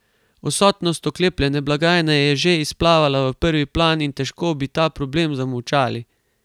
Odsotnost oklepljene blagajne je že izplavala v prvi plan in težko bi ta problem zamolčali.